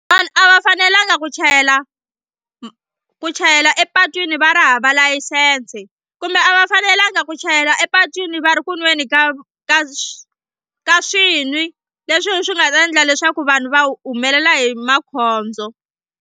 Vanhu a va fanelanga ku chayela ku chayela epatwini va ri hava layisense kumbe a va fanelanga ku chayela epatwini va ri ku nweni ka ka swi ka swinwi leswi swi nga ta endla leswaku vanhu va humelela hi makhondzo.